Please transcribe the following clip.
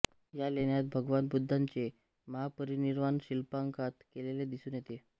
या लेण्यात भगवान बुद्धांचे महापरिनिर्वाण शिल्पांकित केलेले दिसून येते